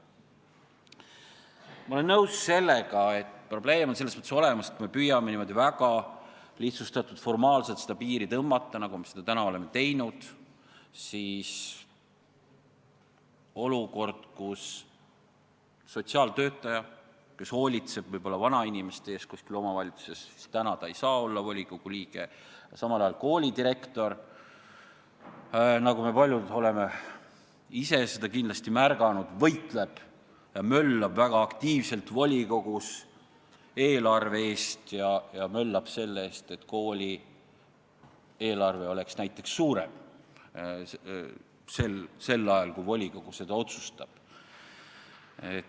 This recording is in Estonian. Ma olen nõus, et probleem on selles mõttes olemas, et kui me püüame niimoodi väga lihtsustatult ja formaalselt seda piiri tõmmata, nagu me seda seni oleme teinud, siis olukord, kus sotsiaaltöötaja, kes hoolitseb võib-olla vanainimeste eest kuskil omavalitsuses, ei saa olla volikogu liige, aga samal ajal koolidirektor, nagu me paljud oleme ise kindlasti märganud, võitleb ja möllab väga aktiivselt volikogus selle eest, et kooli eelarve oleks suurem.